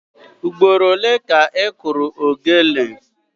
Ugboro ole ka ị kụrụ ogene?